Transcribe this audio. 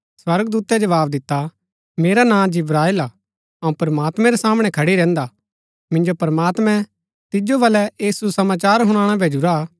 स्वर्गदूतै जवाव दिता मेरा नां जिब्राएल हा अऊँ प्रमात्मैं रै सामणै खडी रैहन्दा मिन्जो प्रमात्मैं तिजो बलै ऐह सुसमाचार हुणाणा भैजुरा हा